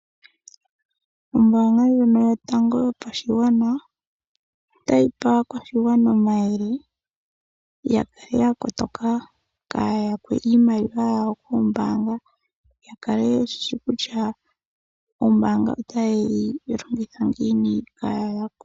Ombaanga ndjono yotango yopashigwana otayi pe aakwashigwana omayele ya kale ya kotoka kaaya yakwe iimaliwa yawo koombaanga ya kale yeshishi kutya ombaanga otaye yi longitha ngiini kaaya yakwe.